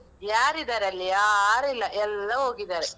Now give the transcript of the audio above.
ಯಾರಿದಾರಲ್ಲಿ? ಯಾರಿಲ್ಲ, ಎಲ್ಲ ಹೋಗಿದ್ದಾರೆ.